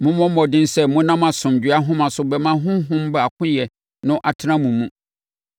Mommɔ mmɔden sɛ monam asomdwoeɛ ahoma so bɛma Honhom baakoyɛ no atena mo mu.